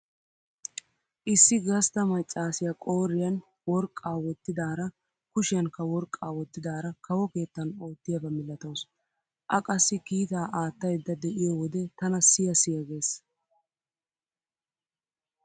Issi gastta maccaasiyaqooriyan worqqaa wottidaara kushiyankka worqqaa wottidaara kawo keettan oottiyaba milatawusu. A qassi kiitaa aattaydda de'iyo wode tana siya siya gees.